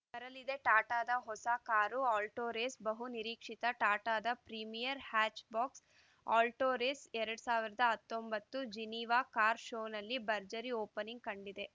ಬರಲಿದೆ ಟಾಟಾದ ಹೊಸ ಕಾರು ಆಲ್ಟೊರೇಸ್ ಬಹು ನಿರೀಕ್ಷಿತ ಟಾಟಾದ ಪ್ರೀಮಿಯರ್‌ ಹ್ಯಾಚ್‌ಬಾಕ್ಸ್ ಆಲ್ಟೊರೇಸ್ ಎರಡ್ ಸಾವಿರದ ಹತ್ತೊಂಬತ್ತು ಜಿನಿವಾ ಕಾರ್‌ ಶೋನಲ್ಲಿ ಭರ್ಜರಿ ಓಪನಿಂಗ್‌ ಕಂಡಿದೆ